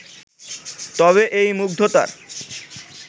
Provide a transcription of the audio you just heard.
তবে এই মুগ্ধতার